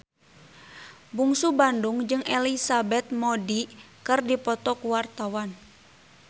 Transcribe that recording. Bungsu Bandung jeung Elizabeth Moody keur dipoto ku wartawan